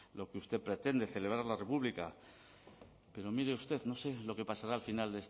lo que usted pretende celebrar la república pero mire usted no sé lo que pasará al final